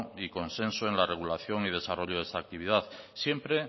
y consenso en la regulación y desarrollo de esa actividad siempre